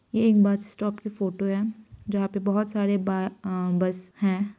ये एक bus stop की फोटो है जहाँ पे बहोत सारे ब अ बस हैं।